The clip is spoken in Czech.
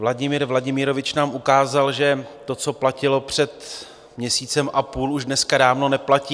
Vladimir Vladimirovič nám ukázal, že to, co platilo před měsícem a půl, už dneska dávno neplatí.